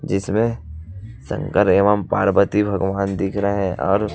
जिसमें शंकर एवं पार्वती भगवान दिख रहें है और--